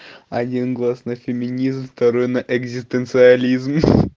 один глаз на феминизм второй на экзистенциализм